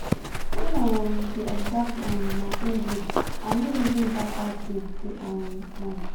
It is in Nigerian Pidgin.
when i um dey observe um my my breath i no reason badbad tins too um much